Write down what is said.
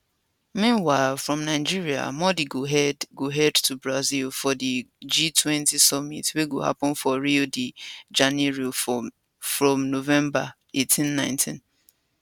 meanwhile from nigeria modi go head go head to brazil for di g20 summit wey go happun for rio de janeiro from november 1819